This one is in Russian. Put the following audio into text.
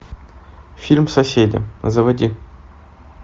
фильм соседи заводи